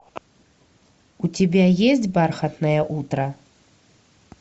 у тебя есть бархатное утро